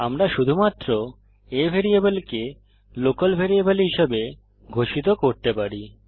আমরা শুধুমাত্র a ভ্যারিয়েবলকে লোকাল ভ্যারিয়েবল হিসাবে ঘোষিত করতে পারি